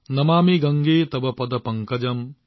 নমামি গংগে তৱ পাদ পংকজম